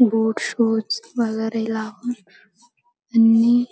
बोट shoes वगेरे लाऊन आणि